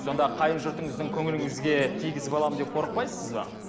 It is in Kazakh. сонда қайын жұртыңыздың көңіліңізге тигізіп аламын деп қорықпайсыз ба